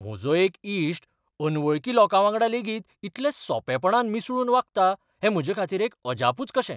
म्हजो एक इश्ट अनवळखी लोकावांगडा लेगीत इतलें सोंपेपणान मिसळून वागता, हें म्हजेखातीर एक अजापुच कशें.